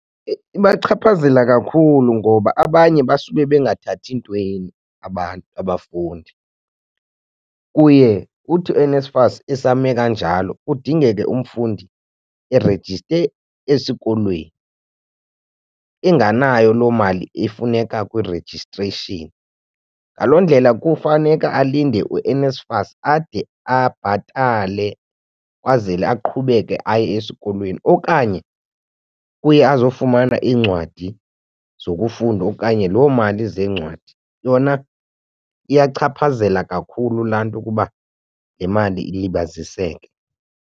Ibachaphazela kakhulu ngoba abanye basube bengathathi ntweni abantu abafundi. Kuye kuthi uNSFAS esame kanjalo kudingeke umfundi erejiste esikolweni enganayo loo mali efuneka kwi-registration. Ngaloo ndlela kufaneka alinde uNSFAS ade abhatale kwazele aqhubeke aye esikolweni okanye uye azofumana iincwadi zokufunda okanye loo mali zeencwadi. Yona iyachaphazela kakhulu laa nto ukuba le mali ilibaziseke.